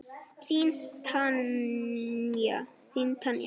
Þín Tanya.